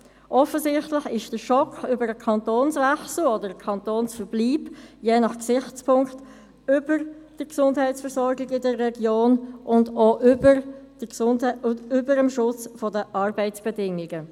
Offensichtlich steht der Schock über den Kantonswechsel oder Kantonsverbleib – je nach Gesichtspunkt – über der Gesundheitsversorgung in der Region und auch über dem Schutz der Arbeitsbedingungen.